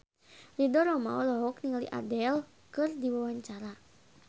Ridho Roma olohok ningali Adele keur diwawancara